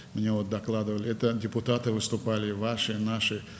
Mənə məlumat verdilər ki, sizin və bizim deputatlar çıxış edirdilər.